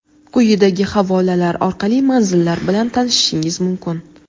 Quyidagi havolalar orqali manzillar bilan tanishishingiz mumkin:.